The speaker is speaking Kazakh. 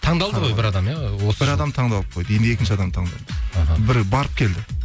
таңдалды ғой бір адам иә бір адам таңдалып қойды енді екінші адам таңдаймыз іхі бірі барып келді